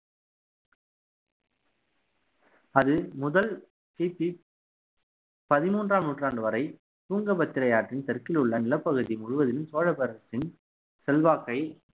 அது முதல் கிபி பதிமூன்றாம் நூற்றாண்டு வரை துங்கபத்திரை ஆற்றின் தெற்கிலுள்ள நிலப்பகுதி முழுவதிலும் சோழ பேரரசின் செல்வாக்கை